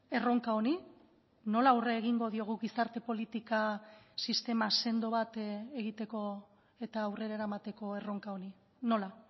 erronka honi nola aurre egingo diogu gizarte politika sistema sendo bat egiteko eta aurrera eramateko erronka honi nola